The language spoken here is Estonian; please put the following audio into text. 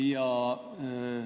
Jah.